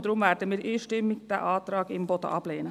Deshalb werden wir den Antrag Imboden einstimmig ablehnen.